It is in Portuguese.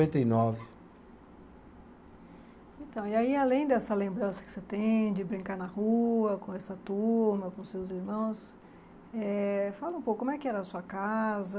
E nove. Então, e aí além dessa lembrança que você tem de brincar na rua com essa turma, com seus irmãos, eh fala um pouco, como é que era a sua casa?